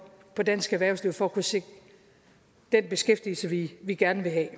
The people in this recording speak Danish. på dansk erhvervsliv for at kunne sikre den beskæftigelse vi vi gerne vil have